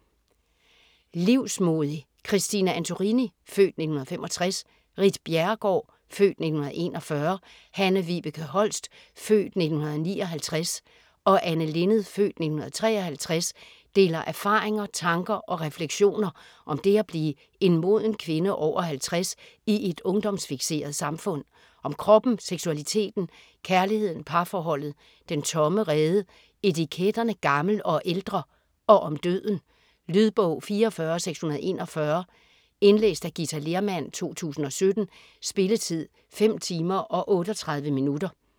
Livsmodig Christine Antorini (f. 1965), Ritt Bjerregaard (f. 1941), Hanne-Vibeke Holst (f. 1959) og Anne Linnet (f. 1953) deler erfaringer, tanker og refleksioner om det at blive en moden kvinde over 50 i et ungdomsfikseret samfund. Om kroppen, seksualiteten, kærligheden, parforholdet, den tomme rede, etiketterne "gammel" og "ældre" og om døden. Lydbog 44641 Indlæst af Githa Lehrmann, 2017. Spilletid: 5 timer, 38 minutter.